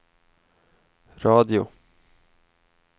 radio